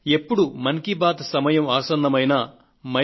ఎప్పుడు మన్ కీ బాత్ సమయం ఆసన్నమైనా mygov